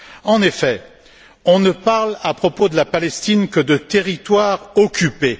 En effet, on ne parle, à propos de la Palestine, que de territoires occupés.